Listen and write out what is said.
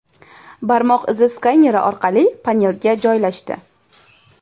Barmoq izi skaneri orqa panelga joylashdi.